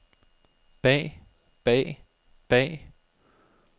bag bag bag